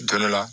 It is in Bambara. Don dɔ la